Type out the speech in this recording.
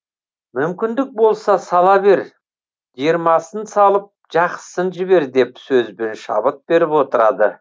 мүмкіндік болса сала бер жиырмасын салып жақсысын жібер деп сөзбен шабыт беріп отырады